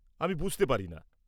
আমি বুঝতে পারি না।